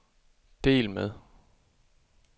del med